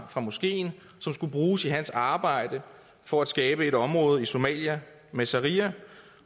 fra moskeen som skulle bruges i hans arbejde for at skabe et område i somalia med sharia